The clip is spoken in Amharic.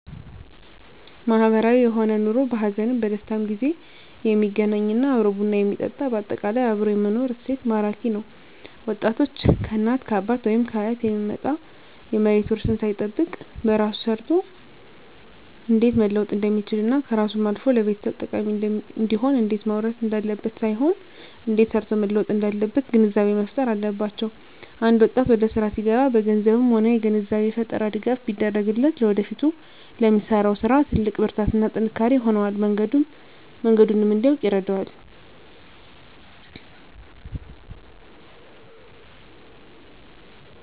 ማህበራዊ የሆነ ኑሮ በሀዘንም በደስታም ጊዜ የሚገናኝ እና አብሮ ቡና የሚጠጣ በአጠቃላይ አብሮ የመኖር እሴት ማራኪ ነዉ ወጣቶች ከእናት ከአባት ወይም ከአያት የሚመጣ የመሬት ዉርስን ሳይጠብቅ በራሱ ሰርቶ እንዴት መለወጥ እንደሚችልና ከራሱም አልፎ ለቤተሰብ ጠቃሚ እንዲሆን እንዴት መዉረስ እንዳለበት ሳይሆን እንዴት ሰርቶ መለወጥ እንዳለበት ግንዛቤ መፋጠር አለባቸዉ አንድ ወጣት ወደስራ ሲገባ በገንዘብም ሆነ የግንዛቤ ፈጠራ ድጋፍ ቢደረግለት ለወደፊቱ ለሚሰራዉ ስራ ትልቅ ብርታትና ጥንካሬ ይሆነዋል መንገዱንም እንዲያዉቅ ይረዳዋል